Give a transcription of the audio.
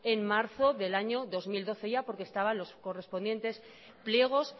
en marzo del año dos mil doce porque estaban los correspondientes pliegos